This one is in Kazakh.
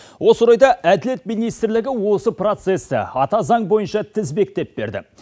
осы орайда әділет министрлігі осы процесті ата заң бойынша тізбектеп берді